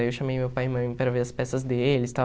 Aí eu chamei meu pai e minha mãe para ver as peças deles e tal.